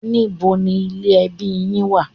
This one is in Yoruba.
Níbo ni ilé ẹbí yín wà?